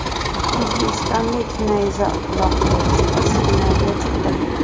O‘zbekistonlik nayza uloqtiruvchi qiz finalga chiqdi.